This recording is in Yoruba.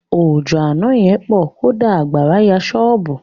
Òjò àna yẹn pọ̀. Kódà àgbàrá ya ṣọ́bùù.